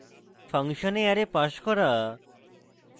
function a array pass করা